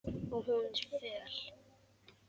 Og hún er föl.